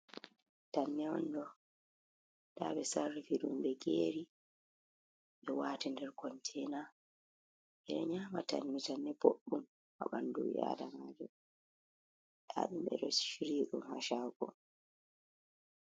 Tanne'on ɗo, nda ɓe Sarrifiɗum ɓe geri.ɓe wati nder Kontena, eɗa nyama tanne, tanne Bodɗum ha ɓandu ɓi Adamajo ɓe'a shiryiɗum ha Shago.